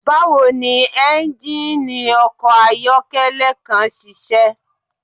Bawo ni engine ọkọ ayọkẹlẹ kan ṣiṣẹ?